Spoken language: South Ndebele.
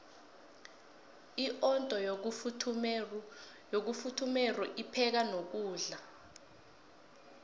iondo yokufuthumeru ipheka nokudla